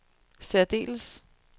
særdeles